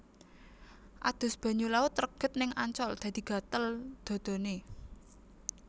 Adus banyu laut reget ning Ancol dadi gatel dhadhane